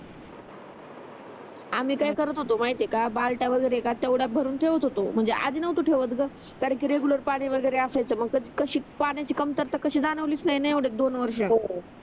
आम्ही काय करत होतो माहित आहे का बलात्या वगेरे भरून ठेवत होतो म्हणजे आधी नव्हतो ठेवत ग कारण कि रेगुलर पाणी वगेरे असायचं तर कशी पाण्याची कमतरता कशी जाणवलीच नाही न एवढ्यात दोन वर्षात हो